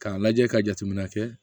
K'a lajɛ ka jateminɛ kɛ